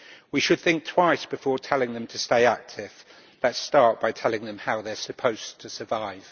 We should think twice before telling them to stay active. Let us start by telling them how they are supposed to survive.